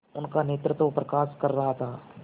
उनका नेतृत्व प्रकाश कर रहा था